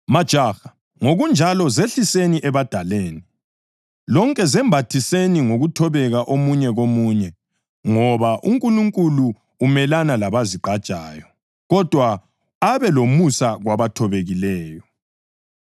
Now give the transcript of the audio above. Majaha, ngokunjalo zehliseni ebadaleni. Lonke zembathiseni ngokuthobeka omunye komunye, ngoba, “UNkulunkulu umelana labazigqajayo, kodwa abe lomusa kwabathobekileyo.” + 5.5 Izaga 3.34